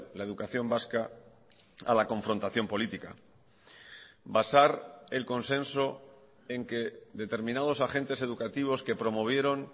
la educación vasca a la confrontación política basar el consenso en que determinados agentes educativos que promovieron